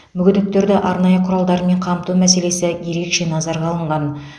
мүгедектерді арнайы құралдармен қамту мәселесі ерекше назарға алынған